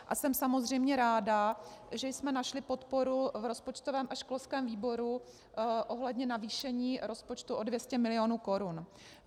A jsem samozřejmě ráda, že jsme našli podporu v rozpočtovém a školském výboru ohledně navýšení rozpočtu o 200 mil. korun.